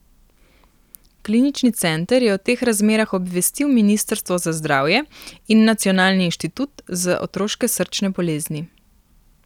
Klinični center je o teh razmerah obvestil ministrstvo za zdravje in Nacionalni inštitut za otroške srčne bolezni.